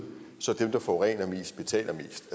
så dem der forurener mest betaler mest